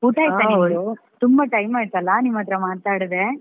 ಊಟ ಆಯ್ತಾ ನಿಮ್ದು ತುಂಬಾ time ಆಯ್ತಲ್ಲ ನಿಮ್ಹತ್ರ ಮಾತಾಡದೆ?